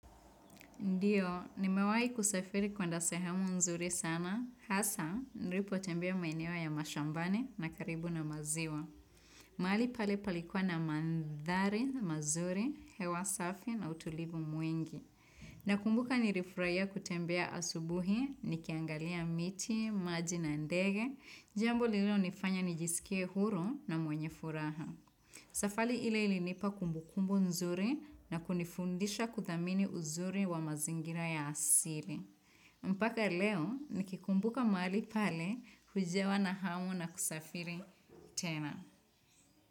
Ndiyo, nimewahi kusafiri kwenda sehemu nzuri sana. Hasa, nilipotembea maeneo ya mashambani na karibu na maziwa. Mahali pale palikuwa na mandhari, mazuri, hewa safi na utulivu mwingi. Nakumbuka nilifurahia kutembea asubuhi, nikiangalia miti, maji na ndege. Jambo lililonifanya nijisikie huru na mwenye furaha. Safali ile ilinipa kumbu kumbu nzuri na kunifundisha kuthamini uzuri wa mazingira ya asili. Mpaka leo nikikumbuka mahali pale hujawa na hamu na kusafiri tena.